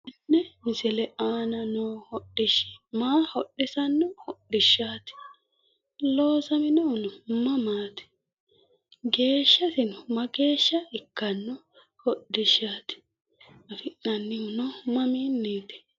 konne misile aana noohu hodhishshi maa hodhissanno hodhishshati loosaminohonno maamati geeshshasinno maageshshsa ikkano hodhishshati affinoonihuno maaminniti?